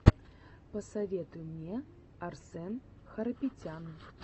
посоветуй мне арсэн харапетян